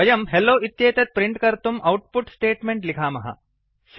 वयं हेल्लो इत्येतत् प्रिंट् कर्तुं औट्पुट् स्टेट्मेंट् लिखामः